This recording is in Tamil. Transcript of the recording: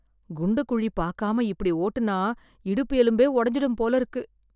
குண்டு குழி பார்க்காம இப்படி ஓட்டுனா இடுப்பு எலும்பே உடைஞ்சுடும் போல இருக்கு.